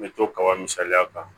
N bɛ to kaba misaliya kan